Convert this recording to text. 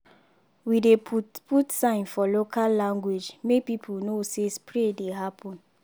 we dey put put sign for local language make people know say spray dey happen.